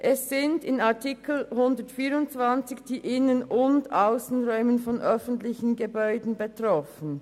Es sind in Artikel 124 die Innen- und Aussenräume von öffentlichen Gebäuden betroffen.